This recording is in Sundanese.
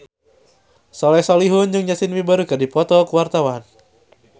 Soleh Solihun jeung Justin Beiber keur dipoto ku wartawan